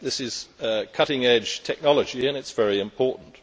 This is cutting edge technology, and it is very important.